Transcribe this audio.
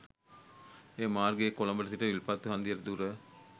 එම මාර්ගයේ කොළඹ සිට විල්පත්තු හන්දියට දුර